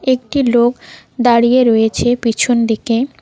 একটি লোক দাঁড়িয়ে রয়েছে পিছন দিকে।